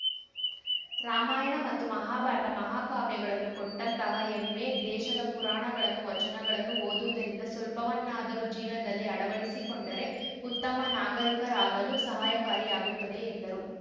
ರಾಮಾಯಣ ಮತ್ತು ಮಹಾಭಾರತ ಮಹಾಕಾವ್ಯಗಳನ್ನು ಕೊಟ್ಟಂತಹ ಹೆಮ್ಮೆ ದೇಶದ ಪುರಾಣಗಳನ್ನು ವಚನಗಳನ್ನು ಓದುವುದರಿಂದ ಸ್ವಲ್ಪವನ್ನಾದರೂ ಜೀವನದಲ್ಲಿ ಅಳವಡಿಸಿಕೊಂಡರೆ ಉತ್ತಮ ನಾಗರಿಕರಾಗಲು ಸಹಾಯಕಾರಿಯಾಗುತ್ತದೆ ಎಂದರು